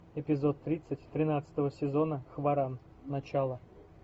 эпизод тридцать тринадцатого сезона хваран начало